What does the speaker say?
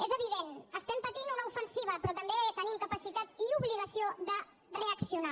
és evident estem patint una ofensiva però també tenim capacitat i obligació de reaccionar